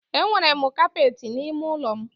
Enwere m kapeti n'ime ụlọ m.